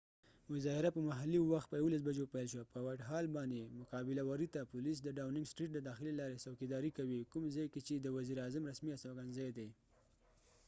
مظاهره په محلي وخت په 11:00 بجو پیل شوه 1+utc په وایټ هال whitehallباندي، مقابل وری ته پولیس د ډاوننګ سټریټ دداخلی لارې ځوکی داری کوي کوم ځای کې چې د وزیر اعظم رسمی استوګن ځای دي